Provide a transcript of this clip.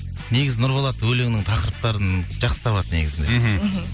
негізі нұрболат өлеңнің тақырыптарын жақсы табады негізінде мхм мхм